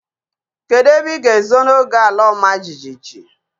Kedụ ebe ịga ezo n'oge ala ọma jijiji?